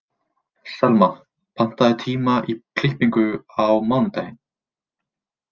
Selma, pantaðu tíma í klippingu á mánudaginn.